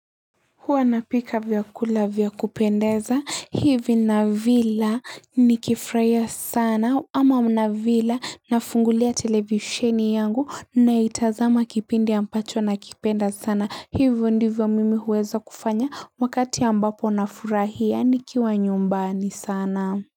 Huanapika vyakula vyakupendeza hivi na vila ni kifraya sana ama mna vila na fungulia televisheni yangu na itazama kipindi ambacho na kipenda sana hivo ndivyo mimi huweza kufanya wakati ambapo na furahia ni kiwa nyumbani sana.